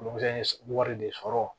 Olu fɛn ye wari de sɔrɔ